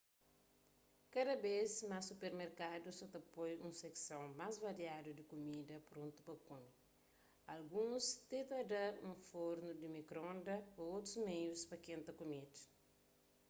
kada bês más supermerkadus sa ta poi un sekson más variadu di kumida prontu pa kume alguns ti ta da un fornu di mikronda ô otus meius pa kenta kumida